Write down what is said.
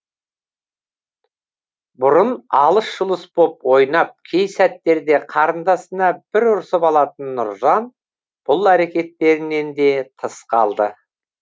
бұрын алыс жұлыс боп ойнап кей сәттерде қарындасына бір ұрсып алатын нұржан бұл әрекеттерінен де тыс қалды